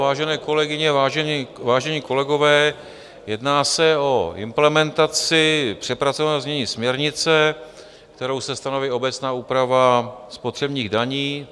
Vážené kolegyně, vážení kolegové, jedná se o implementaci přepracovaného znění směrnice, kterou se stanoví obecná úprava spotřebních daní.